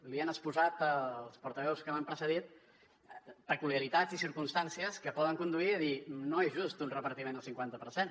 li han exposat els portaveus que m’han precedit peculiaritats i circumstàncies que poden conduir a dir no és just un repartiment al cinquanta per cent